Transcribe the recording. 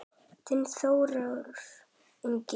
Þinn Þórður Ingi.